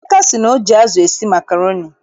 Emeka sị na o ji azụ esi makroni